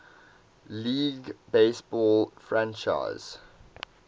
league baseball franchise